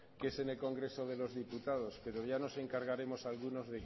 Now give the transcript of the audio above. que es en el congreso de los diputados pero ya nos encargaremos algunos